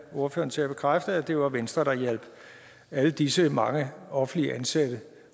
ordføreren til at bekræfte altså at det var venstre der hjalp alle disse mange offentligt ansatte